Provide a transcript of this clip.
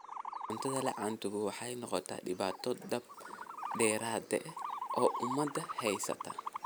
Cunto la�aantu waxay noqotay dhibaato daba-dheeraatay oo ummadda haysata.